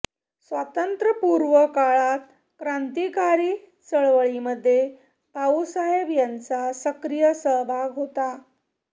स्वातंत्र्यपूर्व काळात क्रांतीकारी चळवळीमध्ये भाऊसाहेब यांचा सक्रीय सहभाग होता